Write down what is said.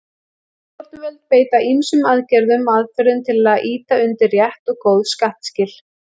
Stjórnvöld beita ýmsum aðgerðum og aðferðum til að ýta undir rétt og góð skattskil.